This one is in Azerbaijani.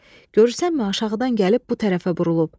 Görürsənmi aşağıdan gəlib bu tərəfə burulub.